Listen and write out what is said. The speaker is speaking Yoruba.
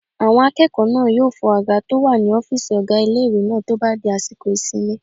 Àwọn akẹ́kọ̀ọ́ náà yóò fọ àga tó wà ní ọ́fìsì ọgá ilé-ìwé náà tó bá di àsìkò ìsinmi